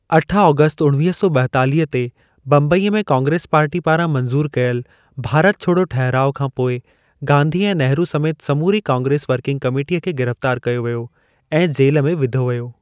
अठ आगस्ट उठवीह सौ ॿायतालिह ते बंबईअ में कांग्रेस पार्टी पारां मंज़ूर कयलु 'भारत छोड़ो' ठहिराउ खां पोइ, गांधी ऐं नेहरू समेति समूरी कांग्रेस वर्किंग कामेटीअ खे गिरफ्तार कयो वियो ऐं जेल में विधो वियो।